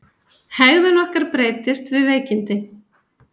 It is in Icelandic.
Hegðun okkar breytist við veikindi.